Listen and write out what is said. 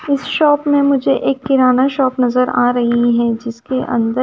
इस शाॅप में मुझे एक किराना शाॅप नजर आ रही है जिसके अंद--